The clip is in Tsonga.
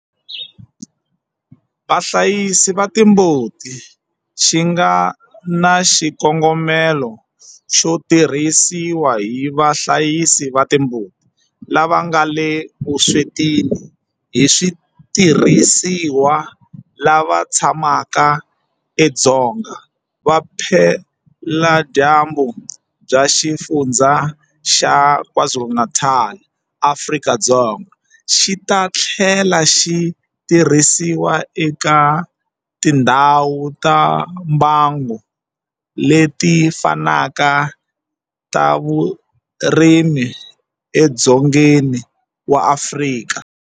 Vahlayisi va timbuti xi nga na xikongomelo xo tirhisiwa hi vahlayisi va timbuti lava nga le vuswetini hi switirhisiwa lava tshamaka edzonga vupeladyambu bya Xifundzha xa KwaZulu-Natal eAfrika-Dzonga, xi ta tlhela xi tirhisiwa eka tindhawu ta mbango leti fanaka ta vurimi edzongeni wa Afrika.